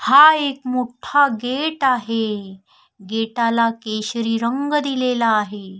हा एक मोठा गेट आहे गेटाला केशरी रंग दिलेला आहे.